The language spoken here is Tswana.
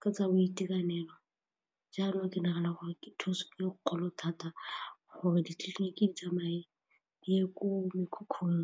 ka tsa boitekanelo jalo ke nagana gore ke thuso ka dikgolo thata gore ditleliniki di tsamaye di ye ko mekhukhung.